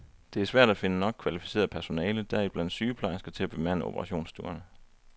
Det er svært at finde nok kvalificeret personale, deriblandt sygeplejersker, til at bemande operationsstuerne.